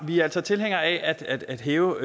vi er altså tilhængere af at hæve